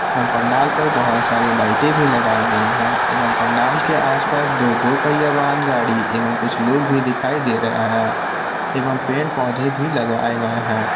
पंडाल पर बहोत सारी लाइटे भी लगाई गई है एवं पंडाल के आसपास दो दो पहिया वाहन गाड़ी एवं कुछ लोग भी दिखाई दे रहे हैं एवं पेड़ पौधे भी लगाए गए हैं।